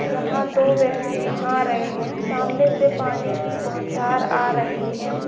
यहाँ दो व्यक्ति नहा रहे है सामने से पानी की बौछार आ रही है।